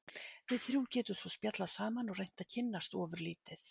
Við þrjú getum svo spjallað saman og reynt að kynnast ofurlítið.